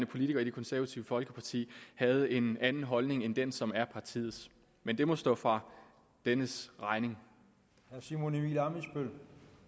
politiker i det konservative folkeparti havde en anden holdning end den som er partiets men det må stå for dennes egen regning